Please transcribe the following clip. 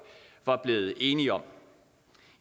var blevet enige om